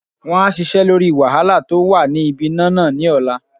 Won á sisẹ́ lórí wàhálà tó wà ní ibi iná nà ní ọ̀la